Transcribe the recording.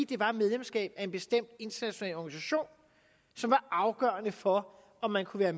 det var medlemskab af en bestemt international organisation som var afgørende for om man kunne være